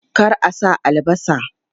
Kar a sanya albasa!